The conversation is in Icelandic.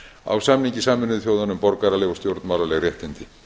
á samningi sameinuðu þjóðanna um borgaraleg og stjórnmálaleg réttindi